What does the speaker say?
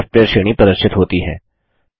software श्रेणी प्रदर्शित होती है